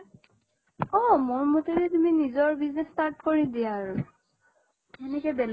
অ মোৰ মতেদি তুমি নিজৰ business start কৰি দিয়া আৰু। এনেকে বেলেগৰ